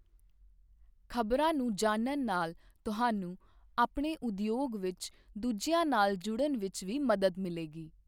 ਖ਼ਬਰਾਂ ਨੂੰ ਜਾਣਨ ਨਾਲ ਤੁਹਾਨੂੰ ਆਪਣੇ ਉਦਯੋਗ ਵਿੱਚ ਦੂਜਿਆਂ ਨਾਲ ਜੁੜਨ ਵਿੱਚ ਵੀ ਮਦਦ ਮਿਲੇਗੀ।